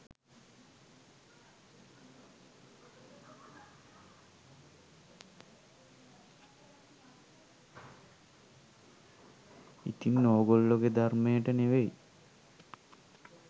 ඉතින් ඔගෝල්ලෝගේ ධර්මයට නෙවෙයි